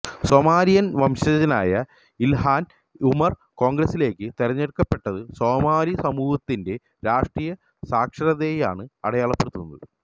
Somalian വംശജയായ Ilhan Omar കോണ്ഗ്രസിലേക്ക് തെരഞ്ഞെടുക്കപ്പെട്ടത് സോമാലി സമൂഹത്തിന്റെ രാഷ്ട്രീയ സാക്ഷരതയെയാണ് അടയാളപ്പെടുത്തുന്നത്